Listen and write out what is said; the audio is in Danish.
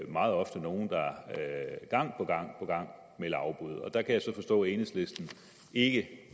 meget ofte nogle der gang på gang melder afbud og der kan jeg så forstå at enhedslisten ikke